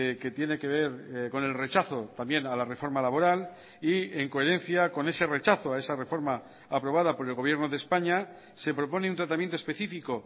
que tiene que ver con el rechazo también a la reforma laboral y en coherencia con ese rechazo a esa reforma aprobada por el gobierno de españa se propone un tratamiento específico